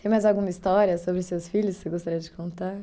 Tem mais alguma história sobre seus filhos que você gostaria de contar?